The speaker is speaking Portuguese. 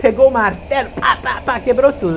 Pegou o martelo, pá, pá, pá, quebrou tudo.